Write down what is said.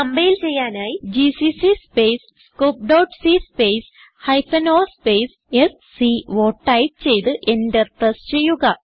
compile ചെയ്യാനായി GCC space scopeസി space hyphen o space സ്കോ ടൈപ്പ് ചെയ്ത് Enter പ്രസ് ചെയ്യുക